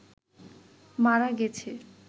মারা গেছে